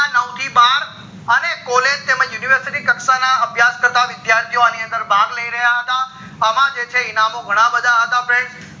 ના નવ થી બાર અને college તેમજ university કક્ષા ના અભ્યાસ કરતા વિશ્યારથી ઓ અણી અંદર ભાગ લહી રહ્યા હતા અમ જે ઇનામો હતા એ ઘણા બધા હતા freinds